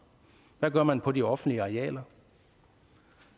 hvad gør man på de offentlige arealer